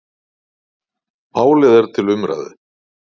Málið er til umræðu.